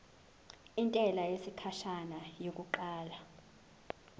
intela yesikhashana yokuqala